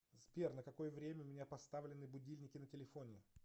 сбер на какое время у меня поставлены будильники на телефоне